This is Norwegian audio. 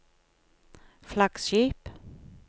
flaggskip